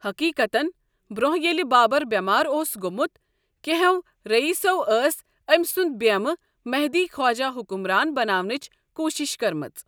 حٔقیٖقتن، برٛونٛہہ ییٚلہِ بابر بیمار اوس گوٚمُت کینٛہو رئیسوں ٲس أمۍ سُنٛد بیمہٕ مہدی خواجہ حُکُمران بناونٕچ کوٗشِش کٔرمٕژ۔